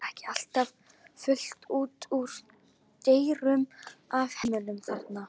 Er ekki alltaf fullt út úr dyrum af hermönnum þarna?